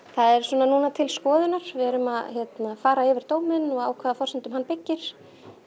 það er nú til skoðunar við erum að fara yfir dóminn og á hvaða forsendum hann byggir